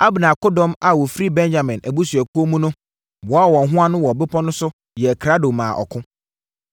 Abner akodɔm a wɔfiri Benyamin abusuakuo mu no boaa wɔn ho ano wɔ bepɔ no so yɛɛ krado maa ɔko.